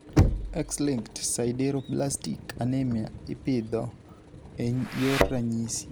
X-linked sideroblastic anemia ipidho e yor ranyisi.